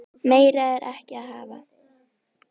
Meira er ekki að hafa.